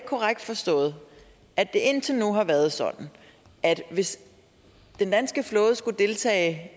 korrekt forstået at det indtil nu har været sådan at hvis den danske flåde skulle deltage i